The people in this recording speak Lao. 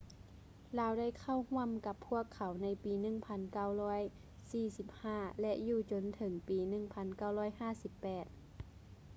ລາວໄດ້ເຂົ້າຮ່ວມກັບພວກເຂົາໃນປີ 1945 ແລະ ຢູ່ຈົນເຖິງປີ 1958